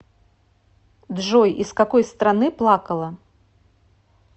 джой из какой страны плакала